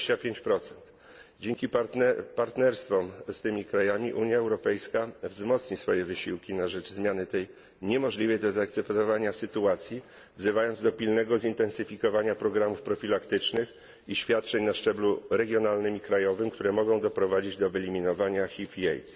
25. Dzięki partnerstwom z tymi krajami Unia Europejska nasili swoje wysiłki na rzecz zmiany tej niemożliwej do zaakceptowania sytuacji, wzywając do pilnego zintensyfikowania programów profilaktycznych i świadczeń na szczeblu regionalnym i krajowym, które mogą doprowadzić do wyeliminowania HIV i AIDS.